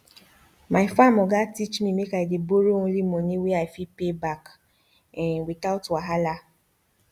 my farm oga teach me make i dey borrow only money wey i fit pay back um without wahala